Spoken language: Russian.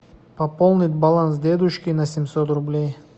пополнить баланс дедушки на семьсот рублей